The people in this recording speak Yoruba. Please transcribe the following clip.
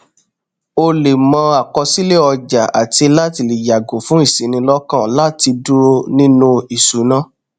ó lẹ mọ àkọsílẹ ọjà àti láti lè yàgò fún ìṣinilọkàn láti dúró nínú ìṣúná